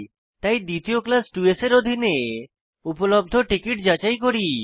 তাই দ্বিতীয় ক্লাস 2স্ এর অধীনে উপলব্ধ টিকিট যাচাই করি